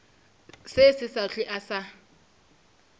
se sa hlwe a sa